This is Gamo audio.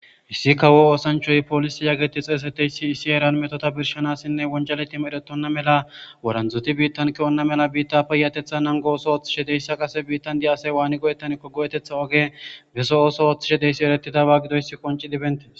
Issi kawo oosanchay poolise geetetoysati wojaleti medhetina mala woranzati biitan ke'ona mala biita payatetha nango ootho oothishe dizaysa Kase biitan de'iya asay wani go'etaneko go'eta oge beso ooso oothishe de'izaysi eretidaba gidoysi quinces.